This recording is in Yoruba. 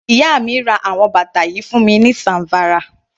Iya mi ra àwọn bàtà yìí fún mi ní Zamfara.